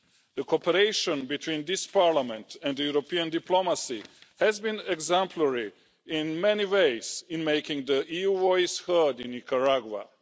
The cooperation between this Parliament and European diplomacy has been exemplary in many ways in making the EU voice heard in Nicaragua.